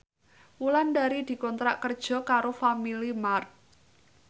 Wulandari dikontrak kerja karo Family Mart